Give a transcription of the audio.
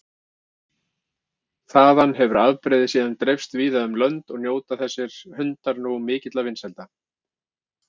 Þaðan hefur afbrigðið síðan dreifst víða um lönd og njóta þessir hundar nú mikilla vinsælda.